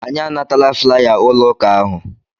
Anyị anatala flaya ụlọ ụka ahụ.